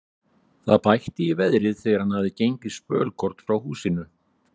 Það bætti í veðrið þegar hann hafði gengið spölkorn frá húsinu.